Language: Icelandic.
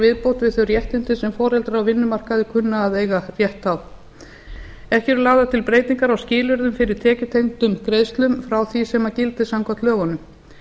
viðbót við þau réttindi sem foreldrar á vinnumarkaði kunna að eiga rétt á ekki eru lagðar til breytingar á skilyrðum fyrir tekjutengdum greiðslum frá því sem gildir samkvæmt lögunum